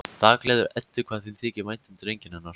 Það gleður Eddu hvað þeim þykir vænt um drenginn hennar.